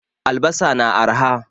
Albasa na arha.